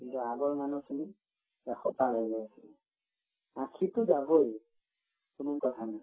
কিন্তু আগৰ মানুহখিনি এশ পাৰ হৈ যায় আছিল আশীতো যাবই কোনো কথা নাই